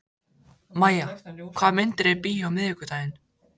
Mæja, hvaða myndir eru í bíó á miðvikudaginn?